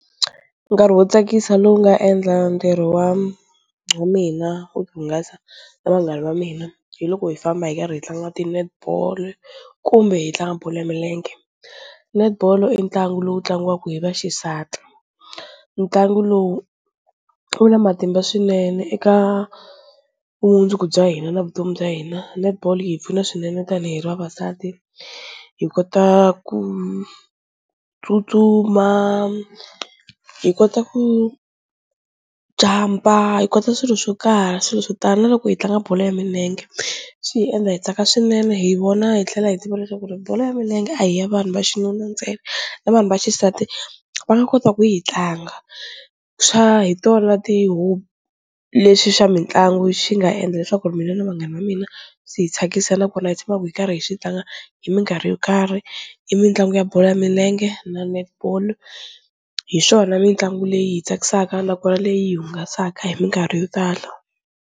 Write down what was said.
Nkarhi wo tsakisa lowu nga endla ntirho wa mina wo hungasa na vanghana va mina hi loko hi famba hi karhi hi tlanga ti net ball kumbe hi tlanga bolo ya milenge, netball i ntlangu lowu tlangiwaka hi vaxisati ntlangu lowu wu na matimba swinene eka vumundzuku bya hina na vutomi bya hina, netball yi hi pfuna swinene tanihi ri vavasati hi kota ku tsutsuma, hi kota ku jump-a, hi kota swilo swo karhi swilo swo tala na loko hi tlanga bolo ya milenge swi hi endla hi tsaka swinene hi vona hi tlhela hi tiva leswaku ri bolo ya milenge a hi ya vanhu va xinuna ntsena na vanhu va xisati va nga kota ku yi hi tlanga, swa hi tona ti lexi xa mitlangu xi nga endla leswaku mina na vanghana va mina swi hi tsakisa na kona hi tshamaka hi karhi hi xi tlanga hi minkarhi yo karhi i mitlangu ya bolo ya milenge na netball hi swona mitlangu leyi hi tsakisaka nakona leyi hungasaka hi minkarhi yo tala.